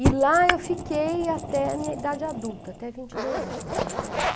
E lá eu fiquei até a minha idade adulta, até vinte e dois anos, me formar.